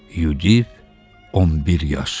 Yudif, 11 yaş.